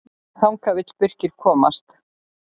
Þangað vill Birkir komast.